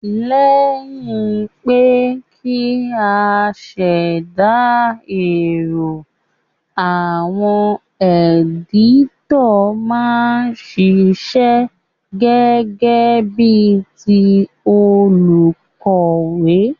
Léyìn pe kí a sèdà èrò, àwon editor ma n sisẹ́ gégé bí ti olùkòwé